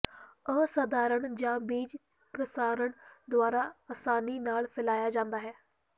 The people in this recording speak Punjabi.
ਅਸਾਧਾਰਣ ਜਾਂ ਬੀਜ ਪ੍ਰਸਾਰਣ ਦੁਆਰਾ ਆਸਾਨੀ ਨਾਲ ਫੈਲਾਇਆ ਜਾਂਦਾ ਹੈ